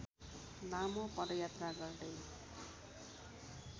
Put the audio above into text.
लामो पदयात्रा गर्दै